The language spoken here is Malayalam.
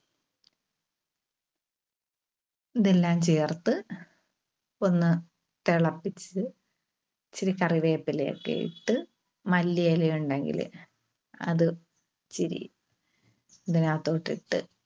ഇതെല്ലാം ചേർത്ത് ഒന്ന് തിളപ്പിച്ച് ഇച്ചിരി കറിവേപ്പിയെക്കെ ഇട്ട് മല്ലിയില ഉണ്ടെങ്കില് അത് ഇച്ചിരി ഇതിനകത്തോട്ട് ഇട്ട്